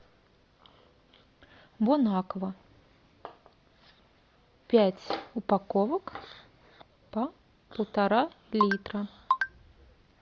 бон аква пять упаковок по полтора литра